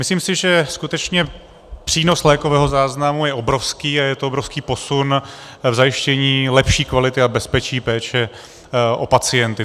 Myslím si, že skutečně přínos lékového záznamu je obrovský a je to obrovský posun v zajištění lepší kvality a bezpečí péče o pacienty.